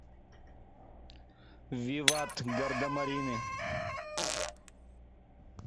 виват гардемарины